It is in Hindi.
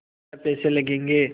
छः पैसे लगेंगे